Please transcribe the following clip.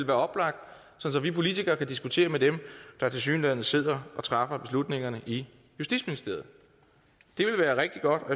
være oplagt så vi politikere kan diskutere med dem der tilsyneladende sidder og træffer beslutningerne i justitsministeriet det ville være rigtig godt og